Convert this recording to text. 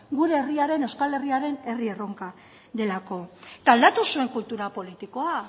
gure euskal herriaren herri erronka delako aldatu zuen kultura politikoa